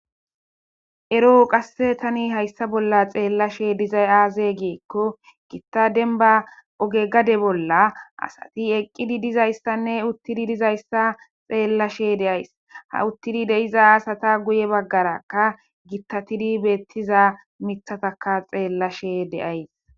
ero qasse tani hayssa bolla xeellashe dizay aaze geekko gittadenba oge gade bolla asati eqqidi dizayssanne uttidi dizayssa xeellashe deays ha uttidi deiza asata guye baggarakka gittatidi beettiza mithataka xeellashe deays